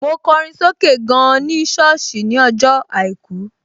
Mo kọrin sókè gan ní sọ́ọ̀sì ní ọjọ́ àìkú